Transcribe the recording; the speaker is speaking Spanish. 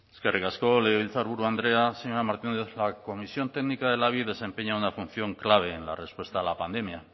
eskerrik asko legebiltzarburu andrea señora martínez la comisión técnica del labi desempeña una función clave en la respuesta a la pandemia